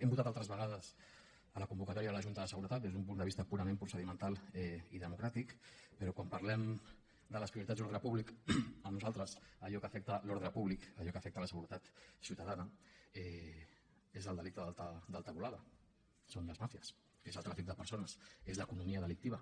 hem votat altres vegades a la convocatòria de la junta de seguretat des d’un punt de vista purament procedimental i democràtic però quan parlem de les prioritats d’ordre públic per nosaltres allò que afecta l’ordre públic allò que afecta la seguretat ciutadana és el delicte d’alta volada són les màfies és el tràfic de persones és l’economia delictiva